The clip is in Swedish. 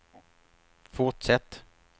fortsätt